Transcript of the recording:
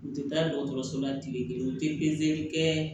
U tɛ taa dɔgɔtɔrɔso la tile kelen u tɛ pezeli kɛ